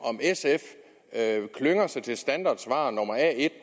sf klynger sig til standardsvar nummer a en